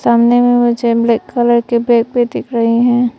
कमरे में मुझे ब्लैक कलर के बैग भी दिख रहे हैं।